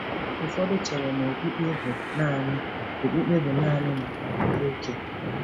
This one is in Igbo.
Ụfọdụ chere na okpukpe bụ naanị okpukpe bụ naanị maka ndị okenye.